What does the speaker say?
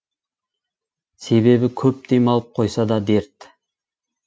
себебі көп демалып қойса да дерт